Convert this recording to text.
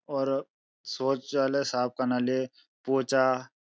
और सौचालय साफ़ कना ले पोचा --